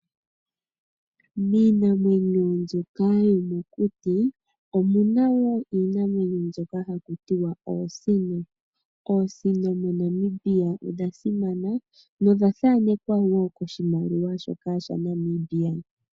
Miinamwenyo mbyoka yomokuti omuna woo inamwenyo wo oosino ,oosino mo Namibia odha simana nodha thaanekwa wo koshimaliwa shoka sha Namibia.